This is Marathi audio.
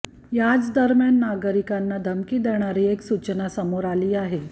याच दरम्यान नागरिकांना धमकी देणारी एक सूचना समोर आली आहे